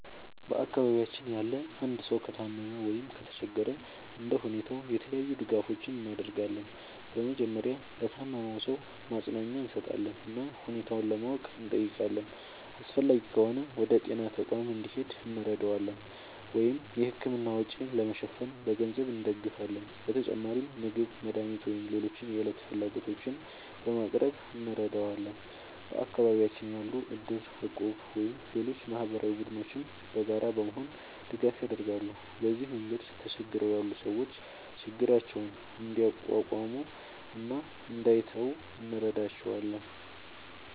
በአካባቢያችን ያለ አንድ ሰው ከታመመ ወይም ከተቸገረ እንደ ሁኔታው የተለያዩ ድጋፎችን እናደርጋለን። በመጀመሪያ ለታመመው ሰው ማጽናኛ እንሰጣለን እና ሁኔታውን ለማወቅ እንጠይቃለን። አስፈላጊ ከሆነ ወደ ጤና ተቋም እንዲሄድ እንረዳዋለን ወይም የሕክምና ወጪ ለመሸፈን በገንዘብ እንደግፋለን። በተጨማሪም ምግብ፣ መድኃኒት ወይም ሌሎች የዕለት ፍላጎቶችን በማቅረብ እንረዳዋለን። በአካባቢያችን ያሉ እድር፣ እቁብ ወይም ሌሎች ማህበራዊ ቡድኖችም በጋራ በመሆን ድጋፍ ያደርጋሉ። በዚህ መንገድ ተቸግረው ያሉ ሰዎች ችግራቸውን እንዲቋቋሙ እና እንዳይተዉ እንረዳቸዋለን።